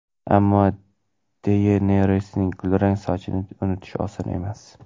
Ammo Deyenerisning kulrang sochini unutish oson emas.